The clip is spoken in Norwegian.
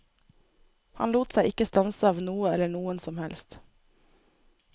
Han lot seg ikke stanse av noe eller noen som helst.